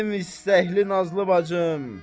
Mənim istəkli nazlı bacım.